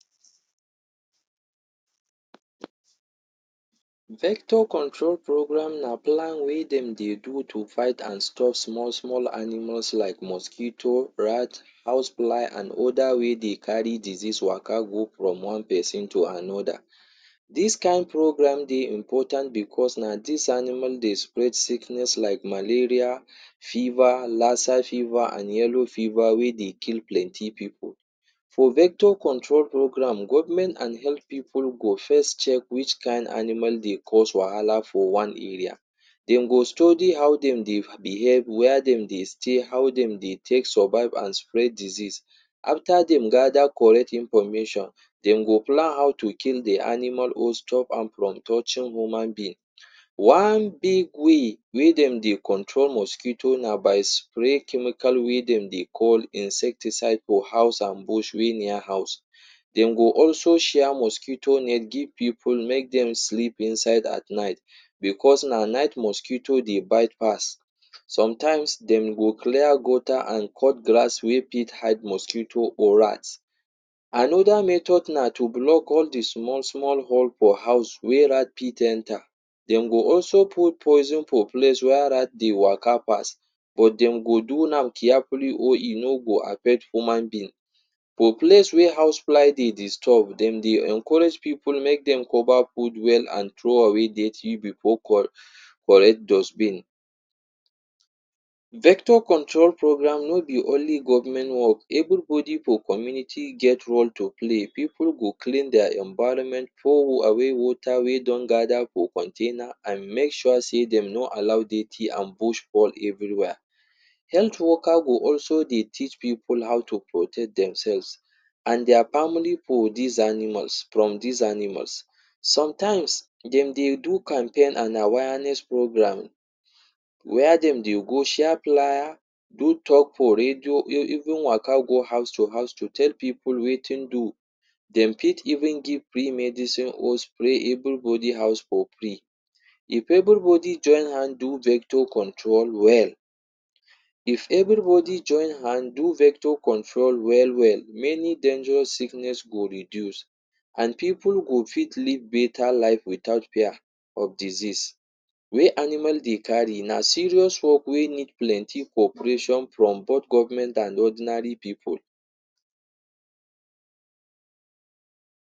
Vector control program na plan wey dem dey do to fight and stop small small animals like mosquito, rat, housefly and other wey dey carry disease waka go from one person to another. Dis kain program dey important because na dis animal dey spread sickness like malaria, fever, lassa fever and yellow fever wey dey kill plenty pipu. For vector control program, government and health pipu go first check which kain animal dey cause wahala for one area. Dem go study how dem dey behave, where dem dey stay, how dem dey take survive and spread disease. After dem gather correct information, dem go plan how to kill the animal or stop am from touching human being. One big way wey dem dey control mosquito na by spread chemical wey dem dey call “insecticide” for house and bush wey near house. Dem go also share mosquito net give pipu make dem sleep inside at night, because na night mosquito dey bite pass. Sometimes dem go clear gutter and cut grass wey fit hide mosquito or rats. Another method na to block all de small small hole for house wey rat fit enter. Dem go also put poison for place where rat dey waka pass but dem go do am carefully or e no go affect human being. For place where housefly dey disturb, dem dey encourage pipu make dem cover food well and throw away dirty for correct dustbin. Vector control program no be only government work, everybody for community get role to play. Pipu go clean their environment, pour away water wey don gather for container and make sure sey dem no allow dirty and bush form everywhere. Health worker go also dey teach pipu how to protect themselves and their family for these animals, from these animals. Sometimes dem dey do campaign and awareness program where dem dey go share flier, do talk for radio even waka go house to house to tell pipu wetin do. Dem fit even give free medicine or spray everybody house for free. If everybody join hand do vector control well, if everybody join hand do vector control well well many dangerous sickness go reduce and pipu go fit live better life without fear of disease wey animal dey carry. Na serious work wey need plenty cooperation from both government and ordinary pipu.